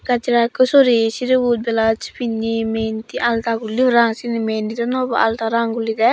gajra ikku soreye sirebot belauc pinney menti alta gulley parang sieni mehendi dw no hobo alta rong gulledey.